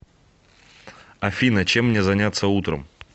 афина чем мне заняться утром